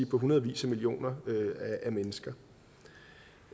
på hundredvis af millioner af mennesker